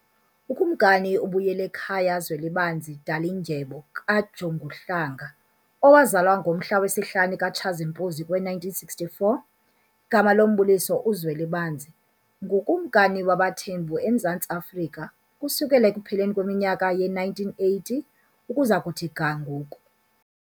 UKumkani uBuyelekhaya Zwelibanzi Dalindyebo KaJonguhlanga owazalwa ngomhla wesihlanu kuTshazimpuzi kowe1964, igama lombuliso uZwelibanzi, ngukumkani wabaThembu eMzantsi Afrika ukusukela ekupheleni kweminyaka ye1980 ukuza kuthi ga ngoku.